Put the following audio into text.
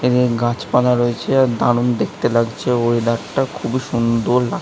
এ গাছপালা রয়েছে দারুন দেখতে লাগছে ওয়েদার টা খুব সুন্দর---